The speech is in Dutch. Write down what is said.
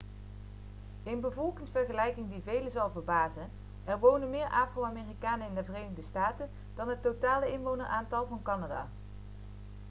een bevolkingsvergelijking die velen zal verbazen er wonen meer afro-amerikanen in de verenigde staten dan het totale inwoneraantal van canada